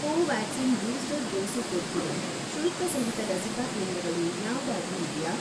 Covaxin booster dose ಕೊಡ್ತಿರೋ ಶುಲ್ಕಸಹಿತ ಲಸಿಕಾ ಕೇಂದ್ರಗಳು ಯಾವ್ದಾದ್ರೂ ಇವ್ಯಾ?